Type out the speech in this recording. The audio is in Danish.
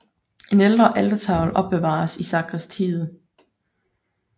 En ældre altertavle opbevares i sakristiet